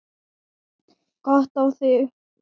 Gott á þig.